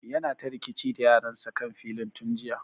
Yana ta rikici da yaran sa kan filin tun jiya